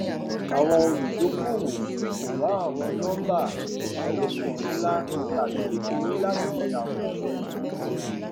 àwọn olùdókòwò kò wá àwọn nọmbà ìṣelọpọ ńlá tàbí kékeré láti àwòṣe yìí